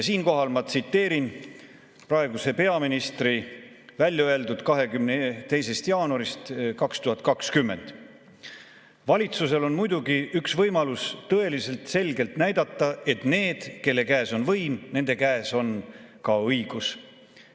Siinkohal ma tsiteerin praeguse peaministri 22. jaanuaril 2020 öeldut: "Valitsusel on muidugi üks võimalus tõeliselt selgelt näidata, et need, kelle käes on võim, nende käes on ka õigus.